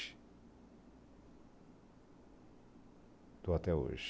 Estou até hoje.